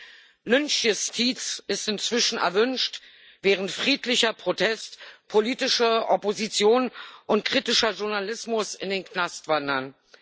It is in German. ein. Lynchjustiz ist inzwischen erwünscht, während friedlicher Protest, politische Opposition und kritischer Journalismus in den Knast wandern.